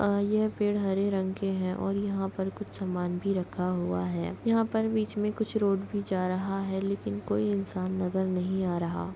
यह पेड़ हरे रंग के है और यहाँ पर कुछ समान भी रखा हुआ है यहाँ पर बीच में कुछ रोड भी जा रहा है लेकिन कोई इंसान नजर नही आ रहा।